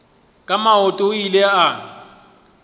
ka maoto o ile a